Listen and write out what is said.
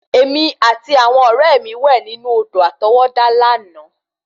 Èmi àti àwọn ọ̀rẹ́ mi wẹ̀ nínú Odò àtọwọ́dá lànà